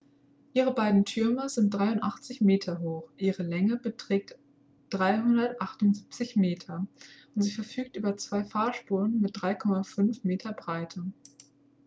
ihre beiden türme sind 83 meter hoch ihre länge beträgt 378 meter und sie verfügt über zwei fahrspuren mit 3,50 m breite